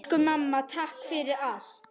Elsku mamma. takk fyrir allt.